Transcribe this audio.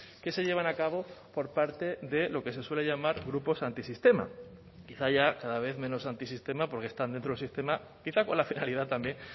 que se llevan a cabo por parte de lo que se suele llamar grupos antisistema quizá haya cada vez menos antisistema porque están dentro del sistema quizá con la finalidad también